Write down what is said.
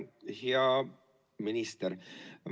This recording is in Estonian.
Hea minister!